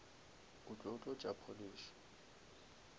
o tlo tlotša polish